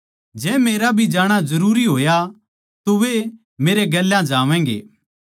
जै मेरा भी जाणा जरूरी होया तो वे मेरै गेल्या जावैंगे